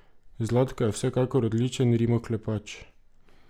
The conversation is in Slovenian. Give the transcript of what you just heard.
Zlatko je vsekakor odličen rimoklepač.